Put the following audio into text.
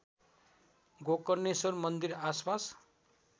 गोकर्णेश्वर मन्दिर आसपास